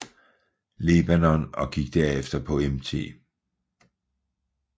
Lebanon og gik derefter på Mt